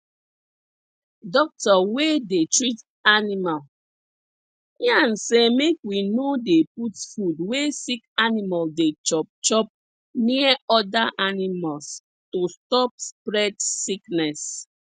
doctor wey dey treat animal yan say make we no dey put food wey sick animal dey chop chop near other animals to stop spread sickness